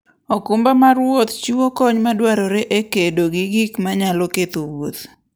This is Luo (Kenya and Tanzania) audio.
okumba mar wuoth chiwo kony madwarore e kedo gi gik manyalo ketho wuoth.